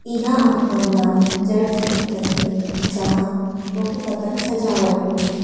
इहा आप मन ला चर्च दिखत हे जहाँ बहुत अकन सजावट होहे।